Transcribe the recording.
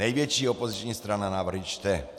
Největší opoziční strana návrhy čte.